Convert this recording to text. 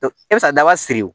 E bɛ se ka daba siri o